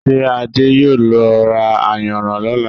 Ṣé adé yóò lọ ra ayanran lọ́là?